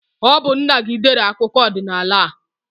Ọ bu nna gị dere akụkọ ọdinaala a